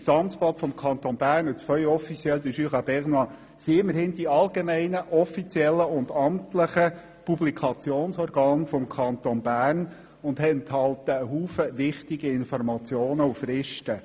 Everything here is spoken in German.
Erstens sind das Amtsblatt des Kantons Bern und das Feuille officielle du Jura bernois immerhin die allgemeinen offiziellen und amtlichen Publikationsorgane des Kantons Bern und enthalten viele wichtige Informationen und Fristen.